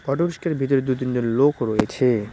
Auto রিস্কার ভেতরে দু তিনজন লোক রয়েছে।